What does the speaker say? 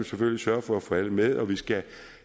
selvfølgelig sørge for at få alle med og vi skal